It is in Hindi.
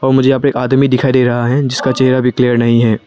मुझे यहां पे एक आदमी दिखाई दे रहा है जिसका चेहरा भी क्लियर नहीं है।